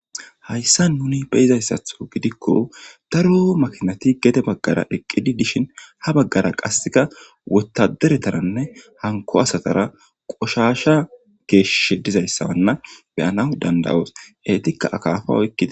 hayssa nuni beyizayssatho gidikko daro makinati gede baggara eqqidi dishin ha baggara qasseka wotaderetananne hanko asatara qoshasha geeshsh dizayssawanna beyana dandawoos eetikka akafa oykkida